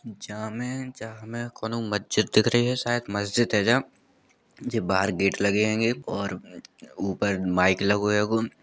जामें जामे कोनों मस्जिद दिख रही है। शायद मस्जिद है यहाँ। जे बाहर गेट लगे हैंगे और ऊपर माइक लगो हैगो।